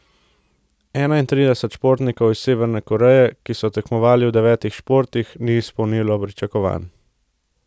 Enaintrideset športnikov iz Severne Koreje, ki so tekmovali v devetih športih, ni izpolnilo pričakovanj.